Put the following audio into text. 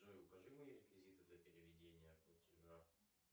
джой укажи мне реквизиты для переведения платежа